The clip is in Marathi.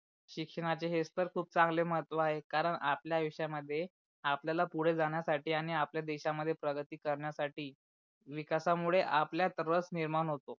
शिक्षणाचे हेच तर खूप चांगले महत्व आहे कारण आपल्या आयुष्यामध्ये आपल्याला पुडे जाण्यासाठी आणि आपल्या देशा मध्ये प्रगती करण्यासाठी विकासामुळे आपल्यात रस निर्माण होतो.